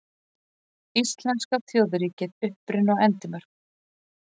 Íslenska þjóðríkið: Uppruni og endimörk.